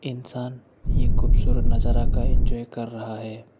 इंसान ये खूबसूरत नजारा का एंजॉय कर रहा है।